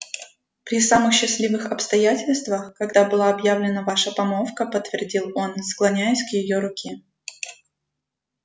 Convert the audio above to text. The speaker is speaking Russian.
при самых счастливых обстоятельствах когда была объявлена ваша помолвка подтвердил он склоняясь к её руке